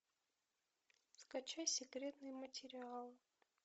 скачай секретные материалы